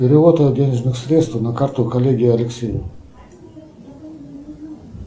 перевод денежных средств на карту коллеге алексею